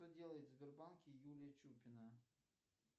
что делает в сбербанке юлия чупина